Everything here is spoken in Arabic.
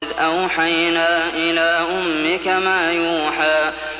إِذْ أَوْحَيْنَا إِلَىٰ أُمِّكَ مَا يُوحَىٰ